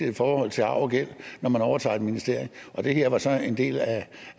i forhold til arv og gæld når man overtager et ministerium og det her var så en del af